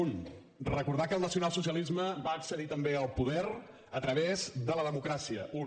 un recordar que el nacionalsocialisme va accedir també al poder a través de la democràcia un